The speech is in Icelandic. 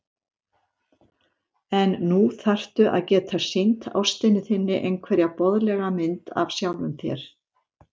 En nú þarftu að geta sýnt ástinni þinni einhverja boðlega mynd af sjálfum þér.